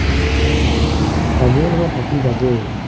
ছাগেই নহয় থাকি যাবই মানে